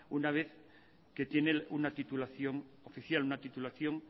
una vez que tiene una titulación oficial una titulación